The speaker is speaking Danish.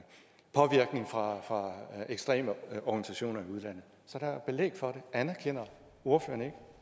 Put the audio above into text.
påvirkning fra ekstreme organisationer i udlandet så der er belæg for det anerkender ordføreren ikke